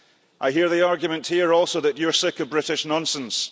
I hear the argument here also that you're sick of British nonsense.